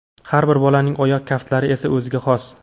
Har bir bolaning oyoq kaftlari esa o‘ziga xos.